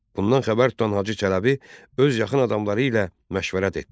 Bundan xəbər tutan Hacı Çələbi öz yaxın adamları ilə məşvərət etdi.